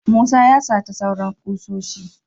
Musa ya sata sauran kusoshin.